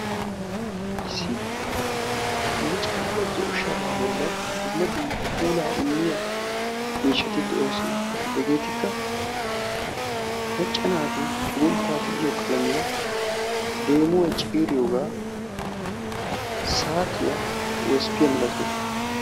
Issi micettida zo'o sharaa bollin dumma dumma puulaa immiyaa miishshati de'oosona. Hegeetikka macca naati cugunttaa tiyiyo qalamiya, deemuwa ciiriyoga, saatiya, wosppiya malatoosona.